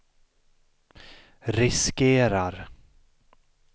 riskerar